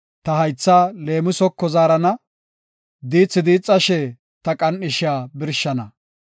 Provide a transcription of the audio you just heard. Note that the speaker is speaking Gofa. Ta haythaa leemisoko zaarana; diithi diixashe, ta qan7ishiya birshana.